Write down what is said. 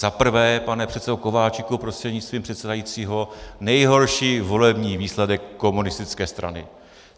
Zaprvé, pane předsedo Kováčiku prostřednictvím předsedajícího, nejhorší volební výsledek komunistické strany.